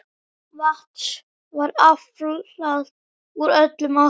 Vatns var aflað úr öllum áttum.